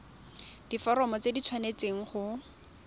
diforomo tse di tshwanesteng go